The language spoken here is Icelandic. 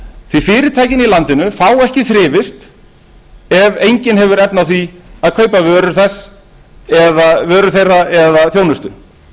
því fyrirtækin í landinu fá ekki þrifist ef enginn hefur efni á því að kaupa vörur þeirra eða þjónustu